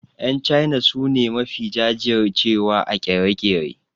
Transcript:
Yan China su ne mafi jajir cewa a ƙere-ƙere.